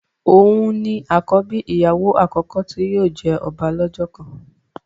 òún ni àkọ́bí ìyàwó àkọ́kọ́ tí yóò jẹ ọba lọ́jọ́ kan